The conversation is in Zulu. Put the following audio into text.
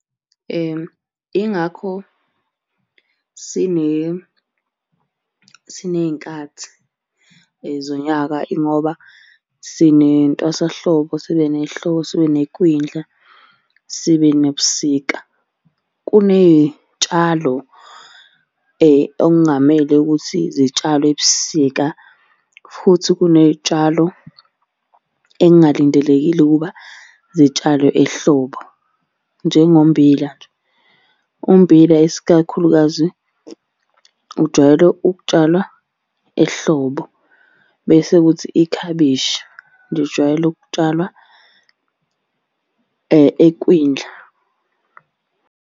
Ingakho siney'nkathi zonyaka, ingoba sinentwasahlobo, sibe nehlobo, sibe nekwindla, sibe nobusika. Kuney'tshalo okungamele ukuthi zitshalwe ebusika, futhi kuney'tshalo ekungalindelekile ukuba zitshalwe ehlobo. Njengommbila nje, ummbila isikakhulukazi ujwayele ukutshalwa ehlobo bese kuthi ikhabishi lijwayele ukutshalwa ekwindla.